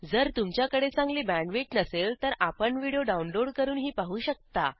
जर तुमच्याकडे चांगली बॅण्डविड्थ नसेल तर आपण व्हिडिओ डाउनलोड करूनही पाहू शकता